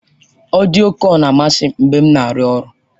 Ọdịyo kọl na-amasị m mgbe m na-arụ ọrụ.